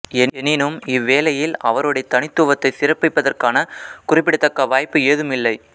எனினும் இவ்வேலையில் அவருடைய தனித்துவத்தை சிறப்பிப்பதற்கான குறிப்பிடத்தக்க வாய்ப்பு ஏதுமில்லை